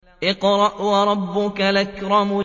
اقْرَأْ وَرَبُّكَ الْأَكْرَمُ